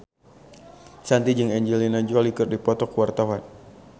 Shanti jeung Angelina Jolie keur dipoto ku wartawan